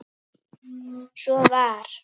Svo var.